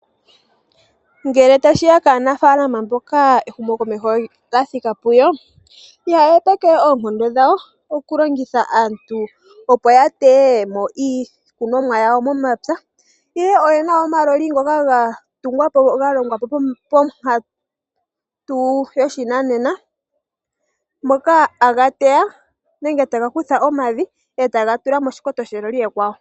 Ngele tashiya kaanafaalama mboka ehumo komeho lyathika puyo, ihaya hepeke oonkondo dhawo okulongitha aantu opo yateye mo iikunomwa yawo momapya ihe oyena omaloli ngoka galongwa pankatu yoshinanena ngoka haga teya nenge tagakutha omavi etagatula moshikoto sheloli ekwawo.